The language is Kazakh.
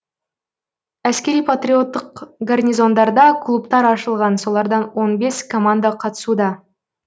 әскери патриоттық гарнизондарда клубтар ашылған солардан он бес команда қатысуда